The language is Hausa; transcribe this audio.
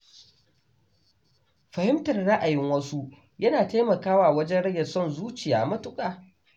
Fahimtar ra’ayin wasu yana taimakawa wajen rage son zuciya matuƙa.